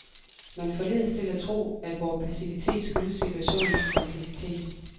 Man forledes til at tro, at vor passivitet skyldes situationens komplicitet.